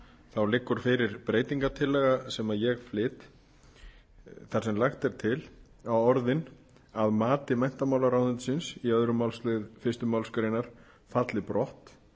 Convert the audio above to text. þá liggur fyrir breytingartillaga sem ég flyt þar sem lagt er til að orðin að mati menntamálaráðuneytisins í öðrum málslið fyrstu málsgrein falli brott